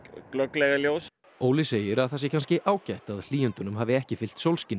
glögglega í ljós Óli segir að það sé kannski ágætt að hlýindunum hafi ekki fylgt sólskin